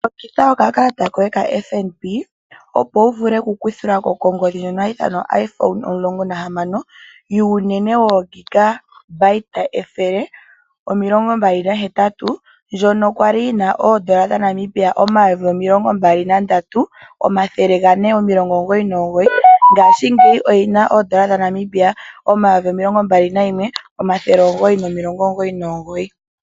Longitha okakalata koye kaFNB opo wu vule okukuthilwa ko kongodhi yoIPhone 16 unene wo 128GB ndjoka ya li yi na N$23499, ihe ngashingeyi oyi na N$21999.